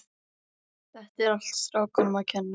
Þetta er allt strákunum að kenna.